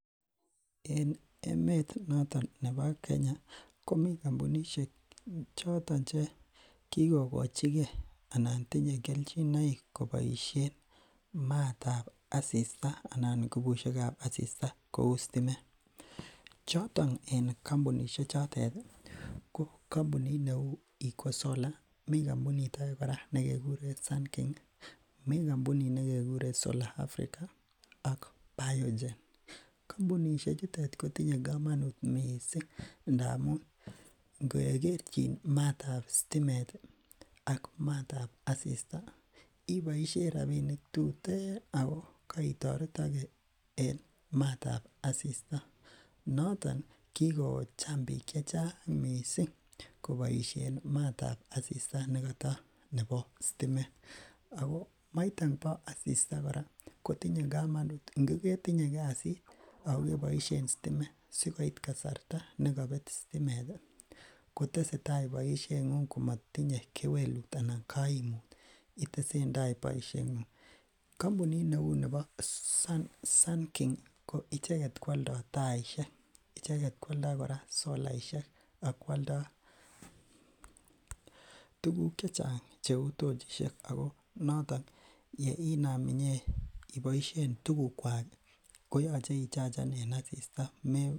En emet noton nebo Kenya komii kombunishek choton che kikokochike anan tinye kelchinoik koboishen maatab asista anan ngubushekab asista kouu sitimet, choton en kombunishe chotet ko kombunishek neuu iko sola, mii kombunik akee nekekuren sun king, mii kombunit nekekuren solar Africa ak baogen, kombunishe chutet kotinye komonut mising ndamun nge kerchin maatab sitimet ak maatab asista iboishen rabinik tuten ak ko koitoretoke en maatab asista, noton kikocham biik chechang koboishen maatab asista nekata nebo sitimet ak ko maiton bo asista kora kotinye komonut ngo ketinye kasit ak ko keboishen sitimet sikoit kasarta nekobet sitimet koteseta boishengung komotinye kewelut anan koimut itesentai iboishen, kombunit neuu nebo sun king ko icheket kwoldo taishek, icheket kora kwoldo solaishek ak kwoldo tukuk chechang cheu tochishek ak noton yee inaam inyeiboishen tukukwak koyoche ichachen en asista.